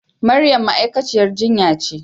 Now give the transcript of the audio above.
Maryam ma'aikaciyar jinya ce.